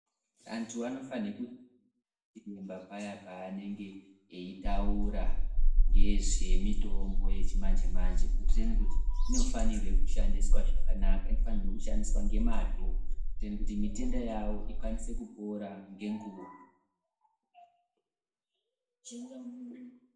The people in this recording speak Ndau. Antu anofanhe ku... paya paanenge eitaura ngezvemitombo yechimanje-manje kuitireni kuti inofanirwe zvakanaka. Inofanirwe kushandiswa ngemazvo kuitireni kuti mitenda yavo ikwanise kupora ngenguva.